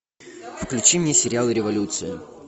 включи мне сериал революция